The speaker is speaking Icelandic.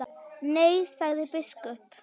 Nei, sagði biskup.